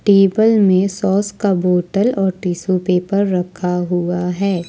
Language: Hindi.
टेबल में सॉस का बोटल और टिशू पेपर रखा हुआ है।